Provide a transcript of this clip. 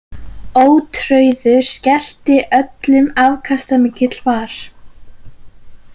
Ótrauður skellti öllum afkastamikill var.